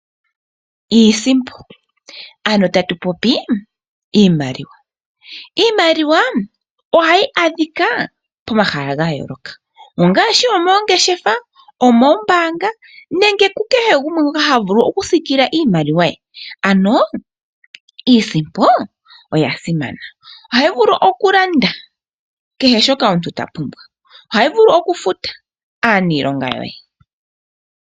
Iimaliwa ohayi adhika momahala gayooloka ngaashi moongeshefa, moombaanga nenge kukehe gumwe ngoka havulu okusiikila iimaliwa ye. Iisimpo oyasimana molwaashono ohayi landa kehe shoka omuntu apumbwa nokufuta oosikola.